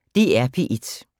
DR P1